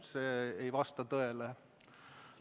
See ei vasta tõele.